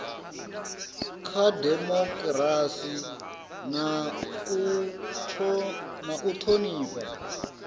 kha dimokirasi na u thonifha